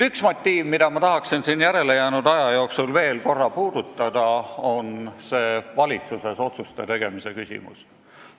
Üks küsimus, mida ma tahan siin järelejäänud aja jooksul veel korra puudutada, on otsuste tegemine valitsuses.